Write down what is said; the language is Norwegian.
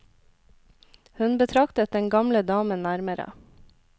Hun betraktet den gamle damen nærmere.